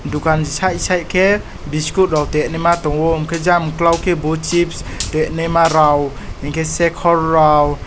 dokan sai sai khe biskot rok tengnima tongo engke jang okolog ke bo chips tenima rok hingke sekkor rok.